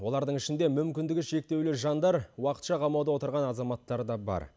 олардың ішінде мүмкіндігі шектеулі жандар уақытша қамауда отырған азаматтар да бар